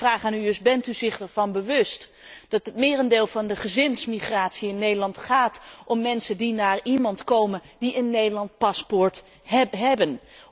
Mijn vraag aan u is bent u zich ervan bewust dat het merendeel van de gezinsmigratie in Nederland mensen betreft die naar iemand komen die een Nederlands paspoort hebben?